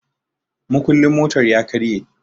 mukulin motar ya karye